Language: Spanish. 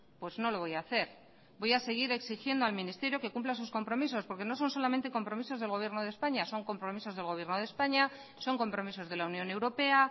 pues no lo voy a hacer voy a seguir exigiendo al ministerio que cumpla sus compromisos porque no son solamente compromisos del gobierno de españa son compromisos del gobierno de españa son compromisos de la unión europea